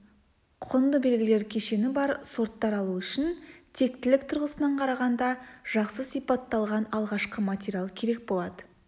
құнды белгілер кешені бар сорттар алу үшін тектілік тұрғысынан қарағанда жақсы сипатталған алғашқы материал керек болады